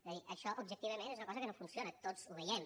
és a dir això objectivament és una cosa que no funciona tots ho veiem